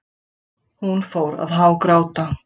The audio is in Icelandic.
Hún fór að hágráta.